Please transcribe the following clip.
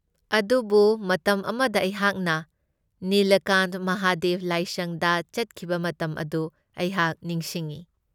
ꯑꯗꯨꯕꯨ ꯃꯇꯝ ꯑꯃꯗ ꯑꯩꯍꯥꯛꯅ ꯅꯤꯂꯀꯥꯟꯊ ꯃꯍꯥꯗꯦꯕ ꯂꯥꯏꯁꯪꯗ ꯆꯠꯈꯤꯕ ꯃꯇꯝ ꯑꯗꯨ ꯑꯩꯍꯥꯛ ꯅꯤꯡꯁꯤꯡꯢ꯫